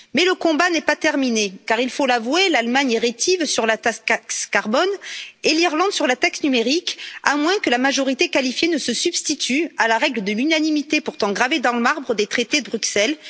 Mais le combat n'est pas terminé car, il faut l'avouer, l'Allemagne est rétive sur la taxe carbone et l'Irlande sur la taxe numérique, à moins que la majorité qualifiée ne se substitue à la règle de l'unanimité, pourtant gravée dans le marbre des traités de Bruxelles.